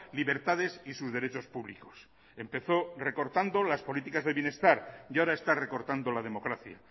libertades y sus derechos públicos empezó recortando las políticas de bienestar y ahora está recortando la democracia